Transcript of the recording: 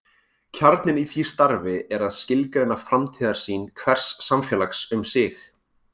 Kjarninn í því starfi er að skilgreina framtíðarsýn hvers samfélags um sig.